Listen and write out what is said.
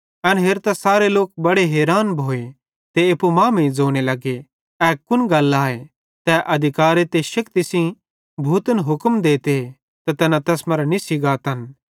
एन हेरतां सारे लोक बड़े हैरान भोए ते एप्पू मांमेइं ज़ोने लगे ए कुन गल आए तै अधिकारे ते शेक्ति सेइं भूतन हुक्म देते ते तैना तैस मरां निस्सी गातन